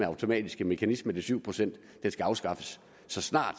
automatiske mekanisme til syv procent skal afskaffes så snart